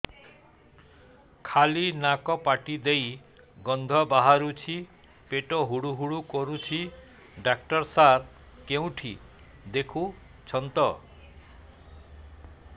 ଖାଲି ନାକ ପାଟି ଦେଇ ଗଂଧ ବାହାରୁଛି ପେଟ ହୁଡ଼ୁ ହୁଡ଼ୁ କରୁଛି ଡକ୍ଟର ସାର କେଉଁଠି ଦେଖୁଛନ୍ତ